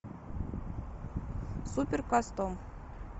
супер кастом